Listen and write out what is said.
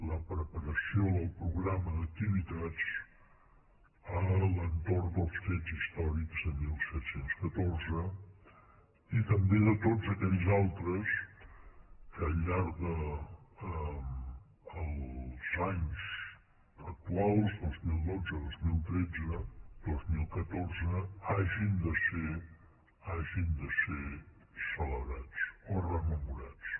la preparació del programa d’activitats a l’entorn dels fets històrics de disset deu quatre i també de tots aquells altres que al llarg dels anys actuals dos mil dotze dos mil tretze dos mil catorze hagin de ser celebrats o rememorats